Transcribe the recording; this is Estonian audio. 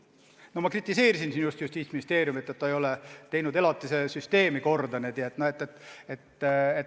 No ma just kritiseerisin Justiitsministeeriumi, et ta ei ole elatise süsteemi korda teinud.